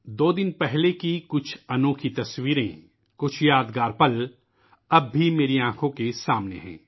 دو دن پہلے کی کچھ خوبصورت تصویریں ، کچھ یاد گار پل ، اب بھی میری آنکھوں کے سامنے ہیں